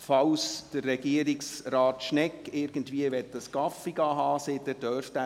Falls Regierungsrat Schnegg einen Kaffee trinken gehen möchte, dürfte er dies tun.